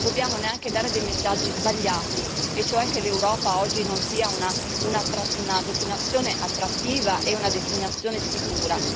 Ma non dobbiamo neanche dare dei messaggi sbagliati, e cioè che l'Europa oggi non è una destinazione attrattiva e una destinazione sicura.